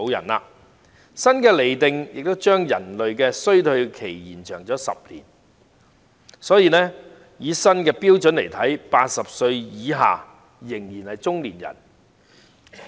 此外，新的釐定亦將人類的衰退期延長10年，所以按照新的標準 ，80 歲以下仍然是中年人。